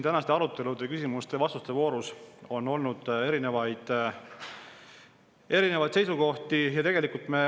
Tänase arutelu ja küsimuste-vastuste voorus on olnud erinevaid seisukohti.